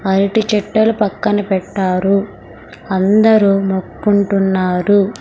అరిటి చెట్టలు పక్కన పెట్టారు అందరూ మొక్కుంటున్నారు .